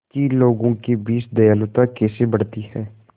कि लोगों के बीच दयालुता कैसे बढ़ती है